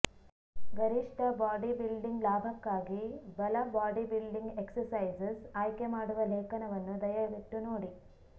ಗರಿಷ್ಠ ಬಾಡಿಬಿಲ್ಡಿಂಗ್ ಲಾಭಕ್ಕಾಗಿ ಬಲ ಬಾಡಿಬಿಲ್ಡಿಂಗ್ ಎಕ್ಸರ್ಸೈಸಸ್ ಆಯ್ಕೆಮಾಡುವ ಲೇಖನವನ್ನು ದಯವಿಟ್ಟು ನೋಡಿ